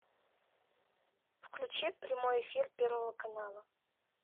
включи прямой эфир первого канала